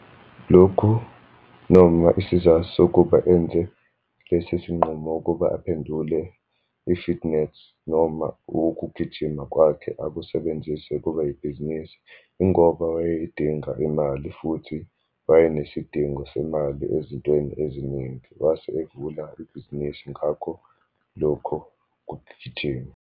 Lokhu, noma isizathu sokuba enze lesi sinqumo ukuba aphendule i-fitness, noma ukugijima kwakhe akusebenzise kuba yibhizinisi. Yingoba wayeyidinga imali futhi wayenesidingo semali ezintweni eziningi. Wase evula ibhizinisi ngakho lokho kugijima.